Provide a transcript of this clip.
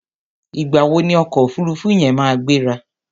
Ìgbà wo ni ọkọ̀ òfuruufú yẹn máa gbéra?